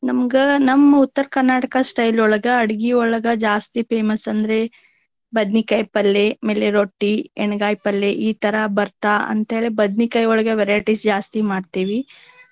ನಮ್ಗ ನಮ್ಮ ಉತ್ತರ Karnataka style ಒಳಗ ಅಡ್ಗಿಯೊಳಗ ಜಾಸ್ತಿ famous ಅಂದ್ರೆ ಬದ್ನಿಕಾಯಿ ಪಲ್ಲೆ, ಆಮೇಲೆ ರೊಟ್ಟಿ, ಎನಗಾಯಿ ಪಲ್ಲೆ ಈ ತರಾ ಬರ್ತಾ ಅಂತ ಹೇಳಿ ಬದ್ನಿಕಾಯಿಯೊಳಗ variety ಜಾಸ್ತಿ ಮಾಡ್ತೇವಿ